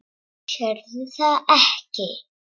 Sérðu það ekki?